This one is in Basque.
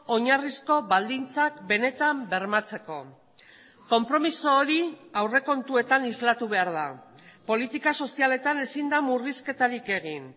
oinarrizko baldintzak benetan bermatzeko konpromiso hori aurrekontuetan islatu behar da politika sozialetan ezin da murrizketarik egin